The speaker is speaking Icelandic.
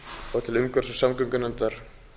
og til umhverfis og samgöngunefndar